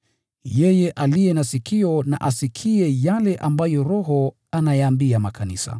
Yeye aliye na sikio na asikie yale ambayo Roho ayaambia makanisa.